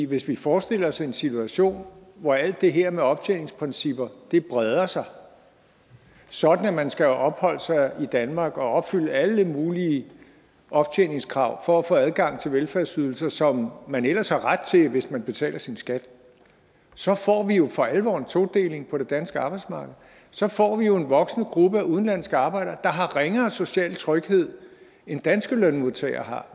hvis vi forestiller os en situation hvor alt det her med optjeningsprincipper breder sig sådan at man skal have opholdt sig i danmark og opfylde alle mulige optjeningskrav for at få adgang til de velfærdsydelser som man ellers har ret til hvis man betaler sin skat så får vi jo for alvor en todeling på det danske arbejdsmarked så får vi jo en voksende gruppe af udenlandske arbejdere der har ringere social tryghed end danske lønmodtagere har